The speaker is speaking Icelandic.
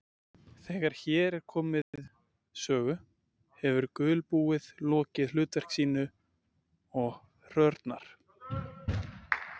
Þegar hér er komið sögu hefur gulbúið lokið hlutverki sínu og hrörnar.